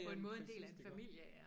På en måde en del af en familie er